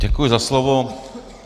Děkuji za slovo.